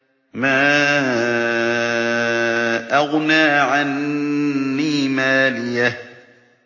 مَا أَغْنَىٰ عَنِّي مَالِيَهْ ۜ